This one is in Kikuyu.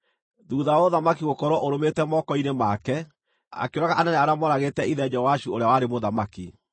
Thuutha wa ũthamaki gũkorwo ũrũmĩte moko-inĩ make, akĩũraga anene arĩa moragĩte ithe Joashu ũrĩa warĩ mũthamaki.